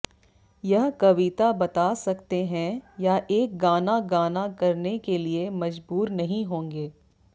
यह कविता बता सकते हैं या एक गाना गाना करने के लिए मजबूर नहीं होंगे